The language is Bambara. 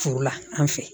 Furu la an fɛ